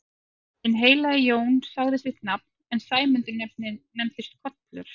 Hinn heilagi Jón sagði sitt nafn en Sæmundur nefndist Kollur.